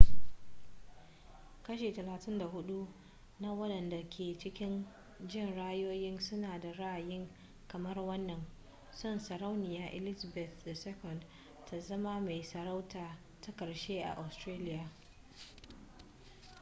kashi 34 na wadanda ke cikin jin ra'ayoyin suna da ra'ayi kamar wannan son sarauniya elizabeth ii ta zama mai sarauta ta karshe a australia